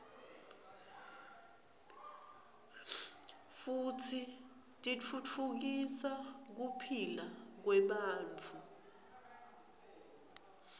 futsi titfutfukisa kuphila kwebantfu